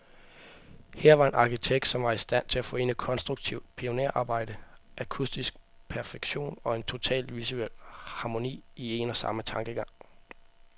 Her var en arkitekt, som var i stand til at forene konstruktivt pionerarbejde, akustisk perfektion, og en total visuel harmoni, i en og samme tankegang.